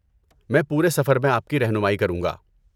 میں پورے سفر میں آپ کی رہنمائی کروں گا۔